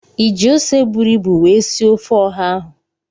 I ji ose buru ibu wee sie ofe Oha ahụ?